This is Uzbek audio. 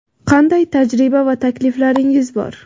Qanday tajriba va takliflaringiz bor?.